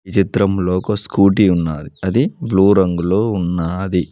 చిత్రంలో ఒక స్కూటీ ఉన్నాది అది బ్లూ రంగులో ఉన్నది.